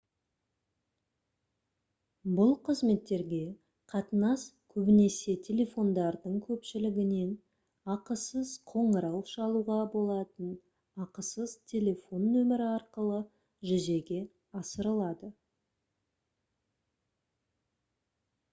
бұл қызметтерге қатынас көбінесе телефондардың көпшілігінен ақысыз қоңырау шалуға болатын ақысыз телефон нөмірі арқылы жүзеге асырылады